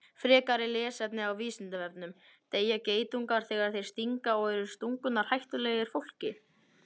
Frekara lesefni á Vísindavefnum: Deyja geitungar þegar þeir stinga og eru stungurnar hættulegar fólki?